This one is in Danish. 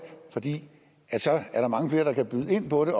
fordi der så er mange flere der kan byde ind på det